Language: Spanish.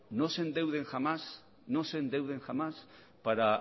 no se endeuden jamán no se endeuden jamás para